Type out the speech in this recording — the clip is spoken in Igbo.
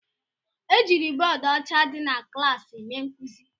Ejiri bọọdụ ọcha dị na klaasị mee nkuzi